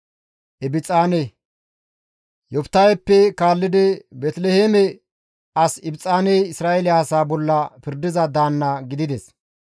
Yoftaheppe kaallidi Beeteliheeme as Ibxaaney Isra7eele asaa bolla pirdiza daanna gidides.